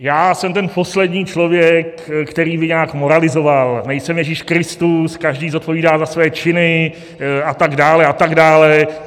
Já jsem ten poslední člověk, který by nějak moralizoval, nejsem Ježíš Kristus, každý zodpovídá za své činy a tak dále a tak dále.